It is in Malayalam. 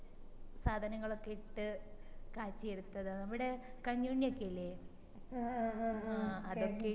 സാധനകളൊക്കെ ഇട്ട് കാച്ചിയെടുത്തതാ നമ്മടെ ഒക്കെ ഇല്ലേ ആ അതൊക്കെ